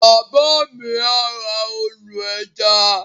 Bàbá mi á ra ọdọ̀-ẹja